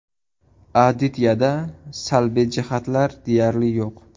Adityada salbiy jihatlar deyarli yo‘q.